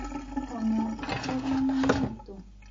O na angĩkorũo nĩ maritũ